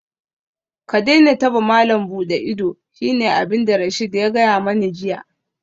Ka daina taba malam buɗe ido shine abinda Rasheed ya gaya mani jiya